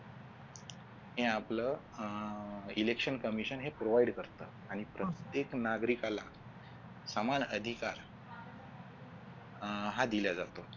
ने आपलं अह election commission हे provide करत आणि प्रत्येक नागरिकाला समान अधिकार हा दिला जातो.